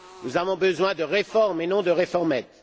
Nous avons besoin de réformes et non de réformettes!